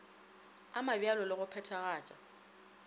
a mabjalo le go phethagata